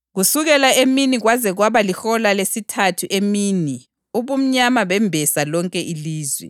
Kusukela emini kwaze kwaba lihola lesithathu emini ubumnyama bembesa lonke ilizwe.